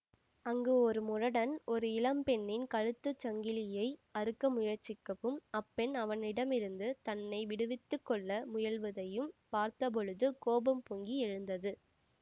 அங்கு ஒரு முரடன் ஒரு இளம் பெண்ணின் கழுத்துச் சங்கிலியை அறுக்க முயற்சிக்கவும் அப்பெண் அவனிடமிருந்து தன்னை விடுவித்துக்கொள்ள முயலுவதையும் பார்த்தபொழுது கோபம் பொங்கி எழுந்தது